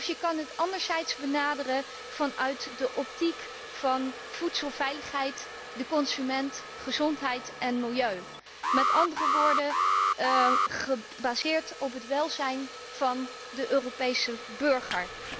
Maar je kan het ook benaderen vanuit de optiek van voedselveiligheid, de consument, gezondheid en milieu, met andere woorden gebaseerd op het welzijn van de Europese burger.